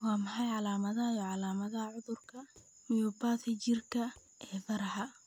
Waa maxay calaamadaha iyo calaamadaha cudurka myopathy jirka ee faraha?